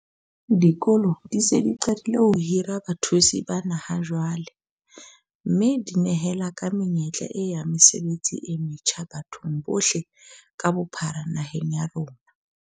Dikolo di se di qadile ho hira bathusi bana ha jwale, mme di nehela ka menyetla e ya mesebetsi e metjha bathong bohle ka bophara naheng ya rona.